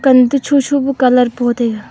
pan toh tho tho pe colour po taiga.